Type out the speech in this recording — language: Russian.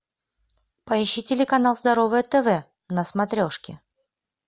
поищи телеканал здоровое тв на смотрешке